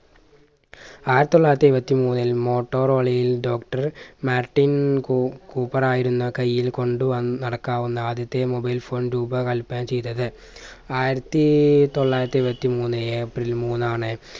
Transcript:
ആയിരത്തി തൊള്ളായിരത്തി എഴുപത്തിമൂന്നിൽ മോട്ടോറോളിയിൽ Doctor മാർട്ടിൻ കൂ കൂപ്പറായിരുന്ന കയ്യിൽ കൊണ്ട് വ നടക്കാവുന്ന ആദ്യത്തെ mobile phone രൂപ കല്പന ചെയ്തത് ആയിരത്തി തൊള്ളായിരത്തി എഴുപത്തിമൂന്ന് ഏപ്രിൽ മൂന്നാണ്